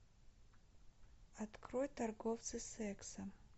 открой торговцы сексом